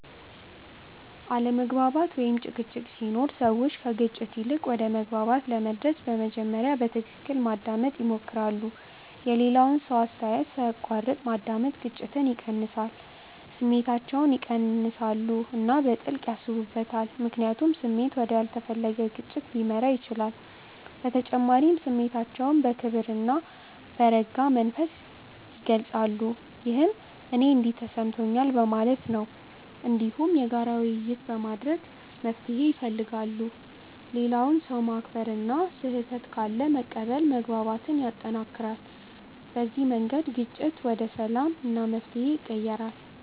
አለመግባባት ወይም ጭቅጭቅ ሲኖር ሰዎች ከግጭት ይልቅ ወደ መግባባት ለመድረስ በመጀመሪያ በትክክል ማዳመጥ ይሞክራሉ። የሌላውን ሰው አስተያየት ሳይቋረጥ ማዳመጥ ግጭትን ይቀንሳል። ስሜታቸውን ይቀንሳሉ እና በጥልቅ ያስቡበታል፣ ምክንያቱም ስሜት ወደ ያልተፈለገ ግጭት ሊመራ ይችላል። በተጨማሪም ስሜታቸውን በክብር እና በረጋ መንፈስ ይገልጻሉ፣ ይህም “እኔ እንዲህ ተሰምቶኛል” በማለት ነው። እንዲሁም የጋራ ውይይት በማድረግ መፍትሄ ይፈልጋሉ። ሌላውን ሰው ማክበር እና ስህተት ካለ መቀበል መግባባትን ያጠናክራል። በዚህ መንገድ ግጭት ወደ ሰላም እና መፍትሄ ይቀየራል።